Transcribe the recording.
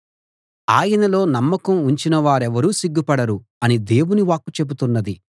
ఆయనలో నమ్మకం ఉంచిన వారెవరూ సిగ్గుపడరు అని దేవుని వాక్కు చెబుతున్నది